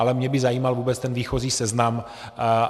Ale mě by zajímal vůbec ten výchozí seznam.